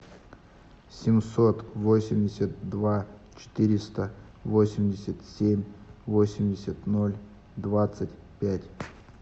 семьсот восемьдесят два четыреста восемьдесят семь восемьдесят ноль двадцать пять